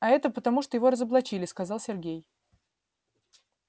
а это потому что его разоблачили сказал сергей